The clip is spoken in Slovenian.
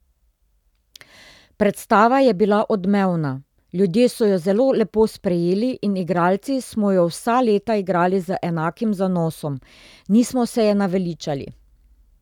Predstava je bila odmevna, ljudje so jo zelo lepo sprejeli in igralci smo jo vsa leta igrali z enakim zanosom, nismo se je naveličali.